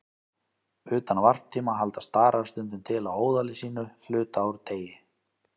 Utan varptíma halda starar stundum til á óðali sínu hluta úr degi.